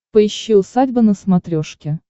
поищи усадьба на смотрешке